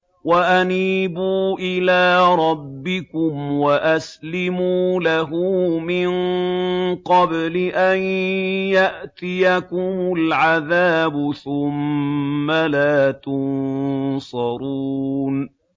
وَأَنِيبُوا إِلَىٰ رَبِّكُمْ وَأَسْلِمُوا لَهُ مِن قَبْلِ أَن يَأْتِيَكُمُ الْعَذَابُ ثُمَّ لَا تُنصَرُونَ